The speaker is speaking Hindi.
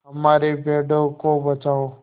हमारे पेड़ों को बचाओ